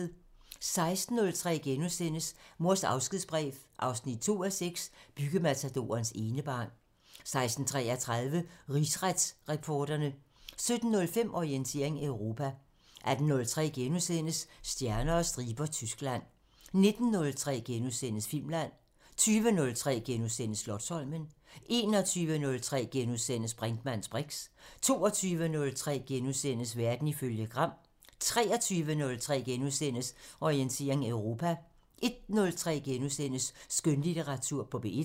16:03: Mors afskedsbrev 2:6 – Byggematadorens enebarn * 16:33: Rigsretsreporterne 17:05: Orientering Europa 18:03: Stjerner og striber – Tyskland * 19:03: Filmland * 20:03: Slotsholmen * 21:03: Brinkmanns briks * 22:03: Verden ifølge Gram * 23:03: Orientering Europa * 01:03: Skønlitteratur på P1 *